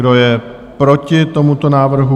Kdo je proti tomuto návrhu?